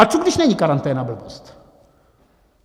A co když není karanténa blbost?